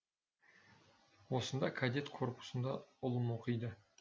осында кадет корпусында ұлым оқиды